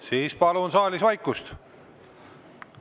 Siis palun saalis vaikust.